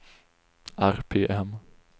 RPM